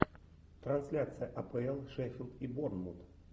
трансляция апл шеффилд и борнмут